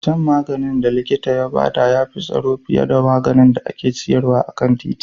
Shan maganin da likita ya rubuta ya fi tsaro fiye da wanda ake sayarwa a kan titi